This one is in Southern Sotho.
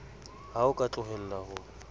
ha o ka tlohella ho